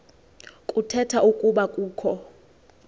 kuthetha ukuba kukho